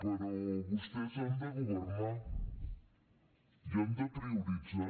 però vostès han de governar i han de prioritzar